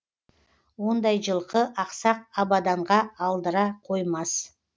ондай жылқы ақсақ абаданға алдыра қоймас